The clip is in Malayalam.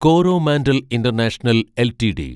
Coromandel International LTD